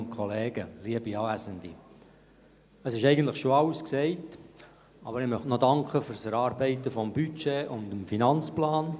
Es wurde eigentlich schon alles gesagt, aber ich möchte noch für das Erarbeiten des Budgets und des AFP danken.